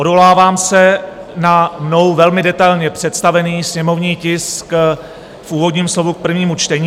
Odvolávám se na mnou velmi detailně představený sněmovní tisk v úvodním slovu k prvnímu čtení.